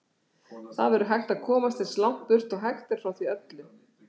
Það verður að komast eins langt burt og hægt er frá því öllu.